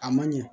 A man ɲɛ